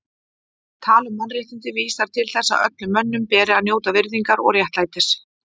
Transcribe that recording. Tal um mannréttindi vísar til þess að öllum mönnum beri að njóta virðingar og réttlætis.